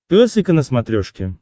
пес и ко на смотрешке